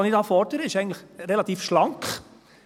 Was ich hier fordere ist eigentlich relativ schlank.